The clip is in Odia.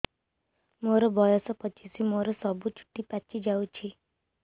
ମୋର ବୟସ ପଚିଶି ମୋର ସବୁ ଚୁଟି ପାଚି ଯାଇଛି